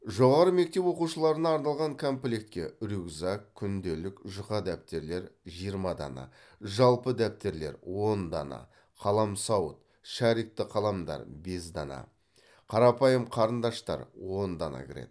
жоғары мектеп оқушыларына арналған комплектке рюкзак күнделік жұқа дәптерлер жиырма дана жалпы дәптерлер он дана қаламсауыт шарикті қаламдар бес дана қарапайым қарындаштар он дана кіреді